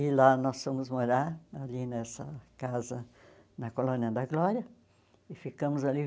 E lá nós fomos morar, ali nessa casa, na Colônia da Glória, e ficamos ali